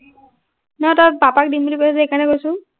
নহয়, তই পাপাক দিম বুলি কৈছিলি যে, সেইকাৰণে কৈছো।